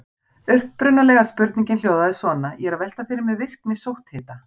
Upprunalega spurningin hljóðaði svona: Ég er að velta fyrir mér virkni sótthita.